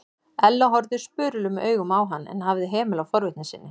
Ella horfði spurulum augum á hann en hafði hemil á forvitni sinni.